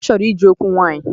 Ọ chọrọ ije okwu nwaanyị.